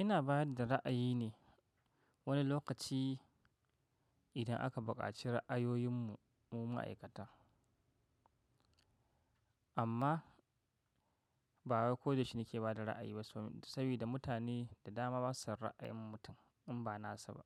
Ina ba yadda ra'ayi ne wani lokaci idan aka buƙaci ra'ayoyin mu mu ma'aikata. Amma ba wai ko da yaushe nike ba da ra'ayi ba saboda mutane da dama basu son ra'ayin mutum in ba nasu ba.